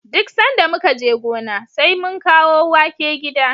Duk sanda muka je gona, sai mun kawo wake gida.